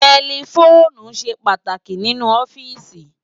Tẹlifoonu ṣé pàtáki ninú òfìsí